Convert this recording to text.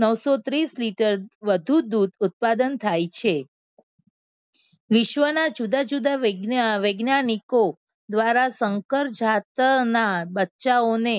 નવસોત્રીસ litre વધુ દૂધ ઉત્પાદન થાય છે. વિશ્વના જુદા જુદા વૈજ્ઞાનિકો દ્વારા શંકર જાત ના બચ્ચાઓને